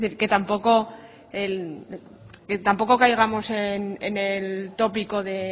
es decir que tampoco caigamos en el tópico de